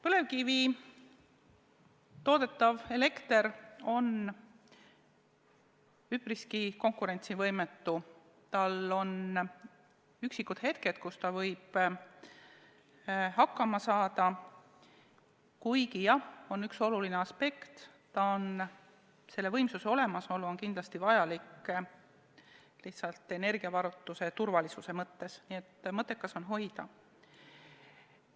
Põlevkivist toodetav elekter on üpriski konkurentsivõimetu, tal on üksikud hetked, kus ta võib hakkama saada, kuigi jah, on üks oluline aspekt: selle võimsuse olemasolu on kindlasti vajalik lihtsalt energiavarustuse turvalisuse mõttes, nii et mõttekas on hoida.